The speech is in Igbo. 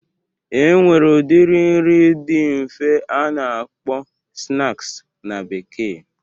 E nwere udiri nri dị nfe a na-akpọ snaks na bekee.